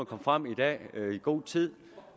kom frem i dag i god tid